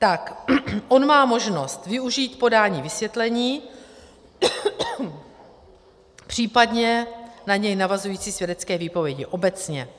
Tak on má možnost využít podání vysvětlení, případně na něj navazující svědecké výpovědi obecně.